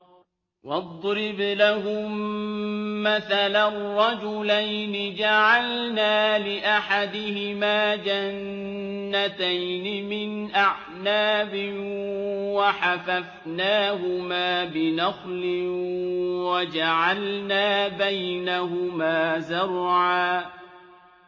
۞ وَاضْرِبْ لَهُم مَّثَلًا رَّجُلَيْنِ جَعَلْنَا لِأَحَدِهِمَا جَنَّتَيْنِ مِنْ أَعْنَابٍ وَحَفَفْنَاهُمَا بِنَخْلٍ وَجَعَلْنَا بَيْنَهُمَا زَرْعًا